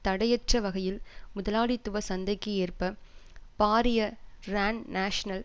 தடையற்ற வகையில் முதலாளித்துவச் சந்தைக்கு ஏற்ப பாரிய ரான்நாஷனல்